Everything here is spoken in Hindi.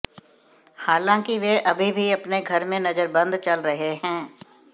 हालांकि वह अभी भी अपने घर में नजरबंद चल रहे हैं